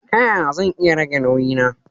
Ta yaya zan iya rage nauyi na.